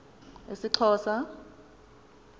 isxhosa